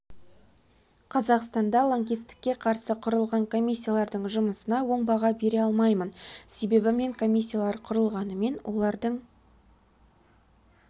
қазақстанда лаңкестікке қарсы құрылған комиссиялардың жұмысына оң баға бере алмаймын себебі мен комиссиялар құрылғанымен олардың